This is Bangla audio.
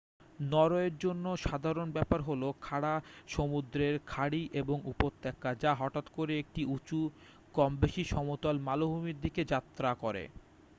নরওয়ের জন্য সাধারণ ব্যাপার হলো খাড়া সমুদ্রের খাঁড়ি এবং উপত্যকা যা হঠাৎ করে একটি উঁচু কম-বেশি সমতল মালভূমির দিকে যাত্রা করে